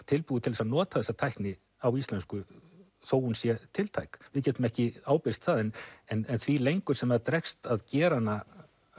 tilbúið til þess að nota þessa tækni á íslensku þó hún sé tiltæk við getum ekki ábyrgst það en en því lengur sem dregst að gera hana